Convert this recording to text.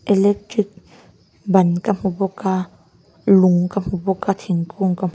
electric ban ka hmu bawk a lung ka hmu bawk a thingkung ka--